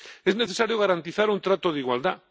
Es necesario garantizar un trato de igualdad.